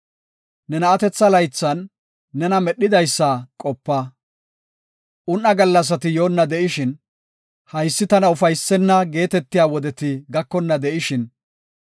Ne na7atetha laythan nena medhidaysa qopa. Un77a gallasati yoonna de7ishin, “Haysi tana ufaysenna” geetetiya wodeti gakonna de7ishin,